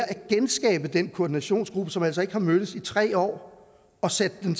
genskabe den koordinationsgruppe som altså ikke har mødtes i tre år og sætte dem